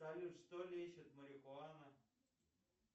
салют что лечит марихуана